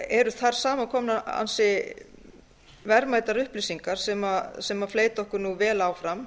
eru þar samankomnar ansi verðmætar upplýsingar sem fleyta okkur vel áfram